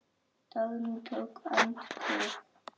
Dagný tók andköf.